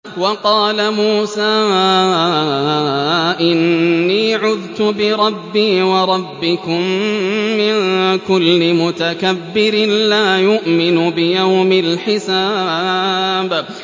وَقَالَ مُوسَىٰ إِنِّي عُذْتُ بِرَبِّي وَرَبِّكُم مِّن كُلِّ مُتَكَبِّرٍ لَّا يُؤْمِنُ بِيَوْمِ الْحِسَابِ